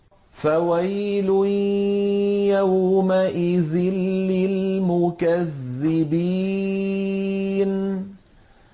فَوَيْلٌ يَوْمَئِذٍ لِّلْمُكَذِّبِينَ